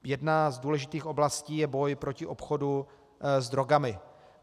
Jedna z důležitých oblastí je boj proti obchodu s drogami.